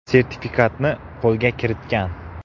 sertifikatini qo‘lga kiritgan.